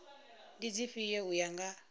ndi dzifhio u ya nga